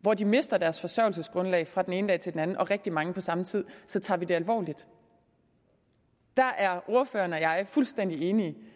hvor de mister deres forsørgelsesgrundlag fra den ene dag til den anden og rigtig mange på samme tid så tager vi det alvorligt der er ordføreren og jeg fuldstændig enige